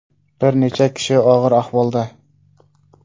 Bir necha kishi og‘ir ahvolda.